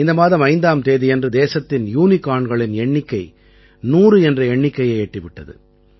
இந்த மாதம் 5ஆம் தேதியன்று தேசத்தின் யூனிகார்ன்களின் எண்ணிக்கை 100 என்ற எண்ணிக்கையை எட்டி விட்டது